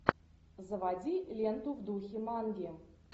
заводи ленту в духе манги